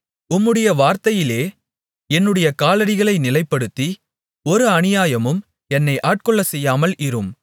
உம்முடைய வார்த்தையிலே என்னுடைய காலடிகளை நிலைப்படுத்தி ஒரு அநியாயமும் என்னை ஆட்கொள்ளச்செய்யாமல் இரும்